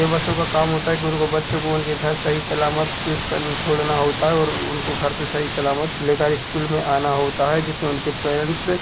ते बसों का काम होता है गुरु को बच्चों को उनके घर सही सलामत पिक कर छोड़ना होता है और उनको घर से सही सलामत लेकर स्कूल में आना होता है। जिससे उनके पैरेंट्स से--